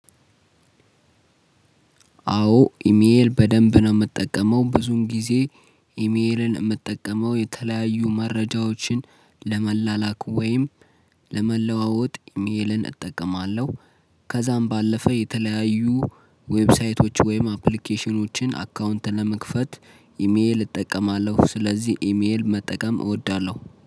አዎ ኢሜል በደንብ ነው የምጠቀመው ብዙም ጊዜ ኢሜልን የምጠቀመው የተለያዩ መረጃዎችን ለመላላክ ወይም ለመለዋወጥ ኢሜልን እጠቀማለሁ። ከዛም ባለፈ የተለያዩ ዌብሳይቶች ወይም አፕሊኬሽኖችን አካውንት ለመክፈት ኢሜል እጠቀማለሁ። ስለዚህ ኢሜል መጠቀም እወዳለሁ